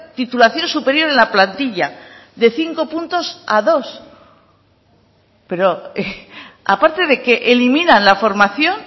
titulación superior en la plantilla de cinco puntos a dos pero aparte de que eliminan la formación